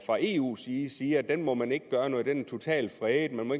fra eus side siger at den må man ikke gøre noget den er totalfredet man må